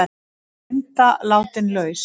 Linda látin laus